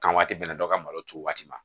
Kan waati bɛnna dɔ ka malo turu waati ma